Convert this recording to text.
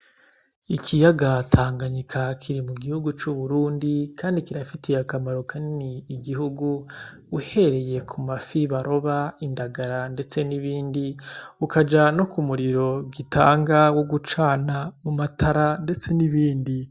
Ikiyaga Tanganyika kiri m'ugihugu c'Uburundi kandi kirafiteye akamaro kanini igihugu uhereye k'umafi baroba, indagara ndetse n'ibindi ...ukaja no k'umuriro gitanga wogucana m'umatara ndetse n'ibindi.